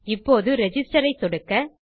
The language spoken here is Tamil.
இப்போது ரிஜிஸ்டர் ஐ சொடுக்க